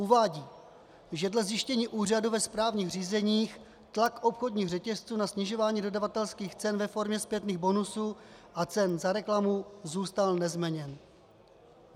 Uvádí, že dle zjištění úřadu ve správních řízeních tlak obchodních řetězců na snižování dodavatelských cen ve formě zpětných bonusů a cen za reklamu zůstal nezměněn.